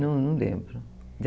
Não, não lembro.